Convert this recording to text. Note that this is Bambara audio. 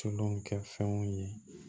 Tulu kɛ fɛnw ye